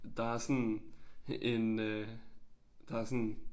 Der er sådan en øh der sådan